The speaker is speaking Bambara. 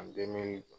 A bɛɛ mɛn